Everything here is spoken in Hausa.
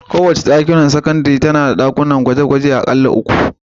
Kowace makarantar sakandare tana da ɗakunan gwaje-gwaje aƙalla uku.